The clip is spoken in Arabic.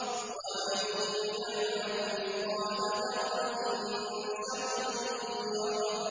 وَمَن يَعْمَلْ مِثْقَالَ ذَرَّةٍ شَرًّا يَرَهُ